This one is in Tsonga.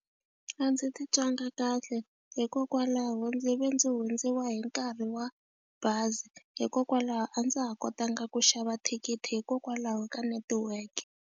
A ndzi ti twanga kahle hikokwalaho ndzi ve ndzi hundziwa hi nkarhi wa bazi hikokwalaho a ndza ha kotanga ku xava thikithi hikokwalaho ka network.